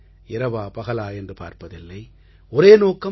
இரவா பகலா என்று பார்ப்பதில்லை ஒரே நோக்கம்